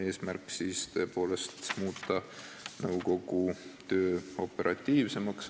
Eesmärk oli tõepoolest muuta nõukogu töö operatiivsemaks.